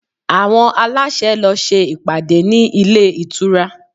Àwọn aláṣẹ lọ ṣe ìpàdé ní ilé ìtura